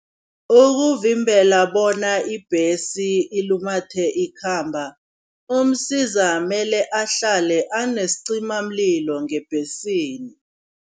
Ukuvimbla bona ibhesi ilumathe ikhamba, uMsiza mele ahlale anesicimamlilo ngebhesini.